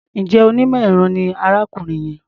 Is that man an engineer?